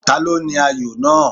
Ta ló ní ayò náà.?